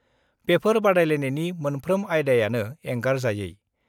बेफोर बादायलायनायनि मोनफ्रोम आयदायानो एंगारजायै।